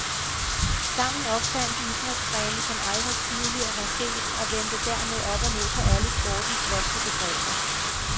Sammen opfandt de idrætsgrene, som aldrig tidligere var set og vendte dermed op og ned på alle sportens vante begreber.